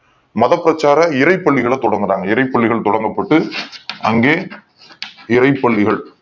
மதப் பிரச்சார இறை பள்ளிகள தொடங்கு கிறார்கள் இறை பள்ளிகள் தொடங்கப் பட்டு அங்கே இரைப் பள்ளிகள்